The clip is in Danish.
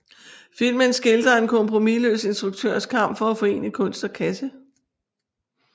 Filmen skildrer en kompromisløs instruktørs kamp for at forene kunst og kasse